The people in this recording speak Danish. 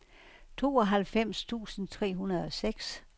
tooghalvfems tusind tre hundrede og seks